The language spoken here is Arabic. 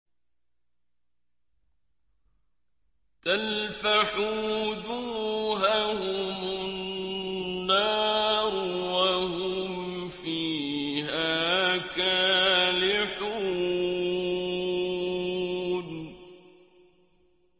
تَلْفَحُ وُجُوهَهُمُ النَّارُ وَهُمْ فِيهَا كَالِحُونَ